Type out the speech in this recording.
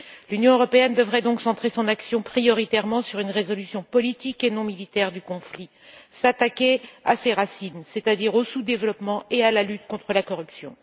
L'Union européenne devrait donc centrer son action prioritairement sur une résolution politique et non militaire du conflit, s'attaquer à ses racines, c'est à dire au sous développement et à la lutte contre la corruption.